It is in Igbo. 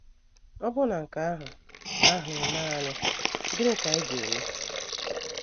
Ọ bụrụ na nke ahụ ahụ emee anyị, gịnị ka anyị ga - eme?